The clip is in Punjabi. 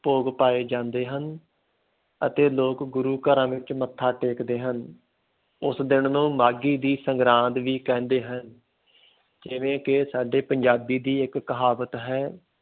ਭੋਗ ਪਾਏ ਜਾਂਦੇ ਹਨ ਅਤੇ ਲੋਕ ਗੁਰੂ ਘਰਾਂ ਵਿੱਚ ਮੱਥਾ ਟੇਕਦੇ ਹਨ, ਉਸ ਦਿਨ ਨੂੰ ਮਾਘੀ ਦੀ ਸਗਰਾਂਦ ਵੀ ਕਹਿੰਦੇ ਹਨ ਜਿਵੇਂ ਕਿ ਸਾਡੇ ਪੰਜਾਬੀ ਦੀ ਇੱਕ ਕਹਾਵਤ ਹੈ,